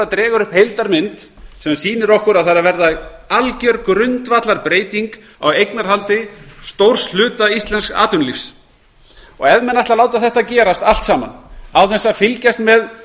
dregur upp heildarmynd sem sýnir okkur að algjör grundvallarbreyting er að verða á eignarhaldi stórs hluta íslensks atvinnulífs ef menn ætla að láta þetta allt gerast án þess að fylgjast með